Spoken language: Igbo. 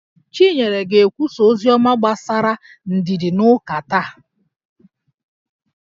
Chinyere ga-ekwusa oziọma gbasara ndidi n'ụka taa